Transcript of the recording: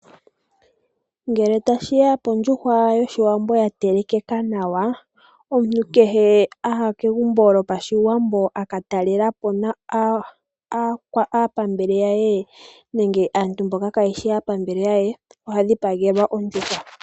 Ngele tashi ya pondjuhwa yOshiwambo ya telekeka nawa, omuntu kehe a ya kegumbo lyo pashiwambo a ka talela po aapambele ya ye nenge aantu mboka ka yeshi aapambele ya ye, oha dhipagelwa ondjuhwa.